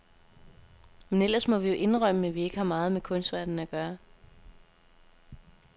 Men ellers må vi jo indrømme, at vi ikke har meget med kunstverdenen at gøre.